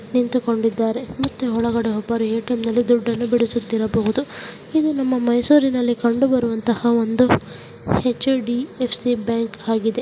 ನಿಂತುಕೊಂಡಿದ್ದಾರೆ ಮತ್ತು ಒಬ್ಬರು ಎ_ಟಿ_ಎಂನಲ್ಲಿ ದುಡ್ಡನು ಅನ್ನು ಬಿಡಸ್ಥಿರಬಾಹುದು-- ಇದು ನಮ್ಮ ಮೈಸೂರಿನಲ್ಲಿ ಕಂಡು ಬರುವಂತಹ ಎಚ್_ಡಿ_ಎಫ್_ಸಿ ಬ್ಯಾಂಕ್ ಆಗಿದೆ.